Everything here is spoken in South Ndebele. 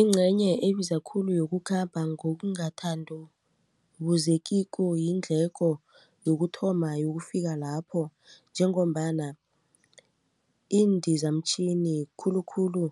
Ingcenye ebiza khulu yokukhamba ngokungathandubuzekiko yiindleko yokuthoma yokufika lapho njengombana indizamtjhini khulukhulu